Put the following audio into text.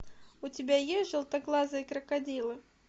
у тебя есть желтоглазые крокодилы